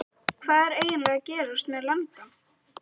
Kristján Már Unnarsson: Hvað er eiginlega að gerast með landann?